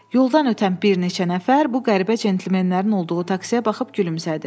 Yoldan ötən bir neçə nəfər bu qəribə centlmenlərin olduğu taksiyə baxıb gülümsədi.